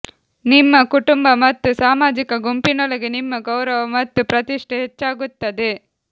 ನಿಮ್ಮ ಕುಟುಂಬ ಮತ್ತು ಸಾಮಾಜಿಕ ಗುಂಪಿನೊಳಗೆ ನಿಮ್ಮ ಗೌರವ ಮತ್ತು ಪ್ರತಿಷ್ಠೆ ಹೆಚ್ಚಾಗುತ್ತದೆ